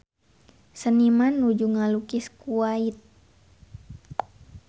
Seniman nuju ngalukis Kuwait